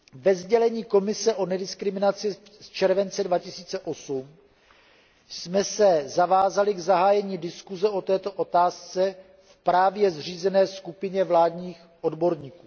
Ve sdělení Komise o nediskriminaci z července 2008 jsme se zavázali k zahájení diskuze o této otázce v právě zřízené skupině vládních odborníků.